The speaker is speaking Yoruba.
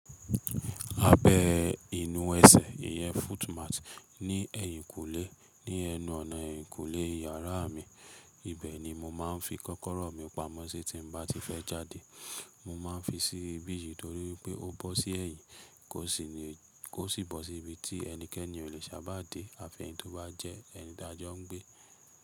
Abẹ inú ẹsẹ̀ iyẹn footmat ní ẹ̀yìnkùlé ní ẹnu ọ̀nà ẹ̀yìnkùlé yàrá mi, ibẹ̀ ni mo máa ń fi kọ́kọ́rọ́ mi pamọ́ sí tí mo bá ti fẹ́ jáde. Mo máa ń fi sí ibí yìí torí pé ó bọ́ sí ẹ̀yìn kó sì bọ́ sí ibi tí ẹnikẹ́ni ò leè sábà dé afẹ́ni tóbá jẹ́ ẹni tí a jọ ń gbé.